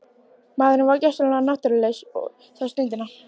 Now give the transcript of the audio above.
Maðurinn var gjörsamlega náttúrulaus þá stundina.